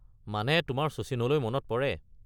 মানে তোমাৰ শচীনলৈ মনত পৰে।